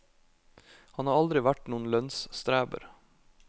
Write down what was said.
Han har aldri vært noen lønnsstreber.